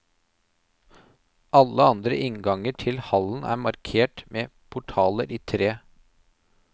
Alle andre innganger til hallen er markert med portaler i tre.